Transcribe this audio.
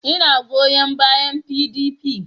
Ina goyon bayan PDP